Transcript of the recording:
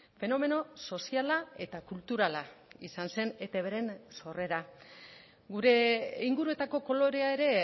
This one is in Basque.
fenomeno soziala eta kulturala izan zen etbren sorrera gure inguruetako kolorea ere